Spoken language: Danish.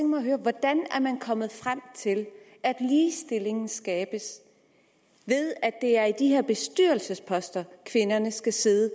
mig at høre hvordan er man kommet frem til at ligestillingen skabes ved at det er på de her bestyrelsesposter kvinderne skal sidde